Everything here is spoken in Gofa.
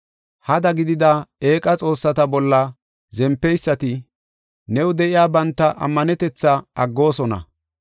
Hada gidida eeqa xoossata bolla zempeysati, new de7iya banta ammanetetha aggoosona.